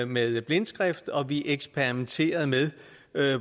med blindskrift og vi eksperimenterede med